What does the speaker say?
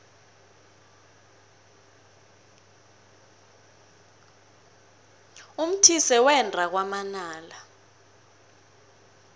umthise wenda kwamanala